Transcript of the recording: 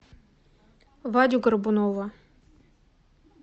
вадю горбунова